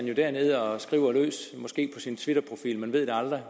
jo dernede og skriver løs måske på sin twitterprofil man ved det aldrig